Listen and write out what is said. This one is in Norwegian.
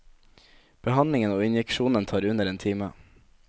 Behandlingen og injeksjonen tar under en time.